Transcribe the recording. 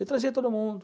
Eu trazia todo mundo.